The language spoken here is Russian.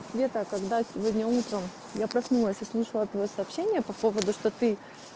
света когда сегодня утром я проснулась услышала твои сообщения по поводу что ты